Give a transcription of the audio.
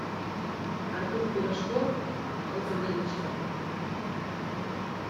артур пирожков алкоголичка